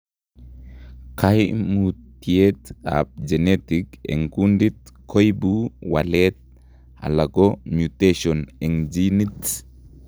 Kaimutiet ab genetic eng' kundit koibu waleet alako mutation eng' genit